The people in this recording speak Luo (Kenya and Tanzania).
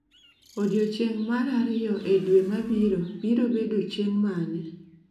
Odiechieng' mar ariyo e dwe mabiro biro bedo chieng' mane?